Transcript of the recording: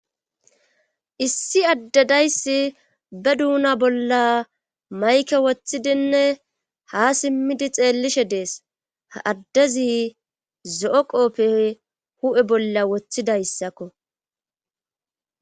Issi addedayssi be duuna bolla mayke wothidinne ha simmidi xeellishe dees addezi zo'o qoppe hu'e bolla wothidayssakko.